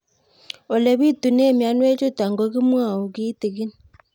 Ole pitune mionwek chutok ko kimwau kitig'ín